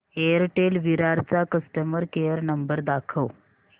Airtel Virar चा customer care number दाखव